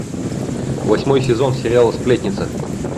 восьмой сезон сериала сплетница